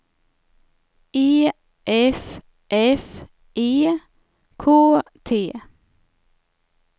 E F F E K T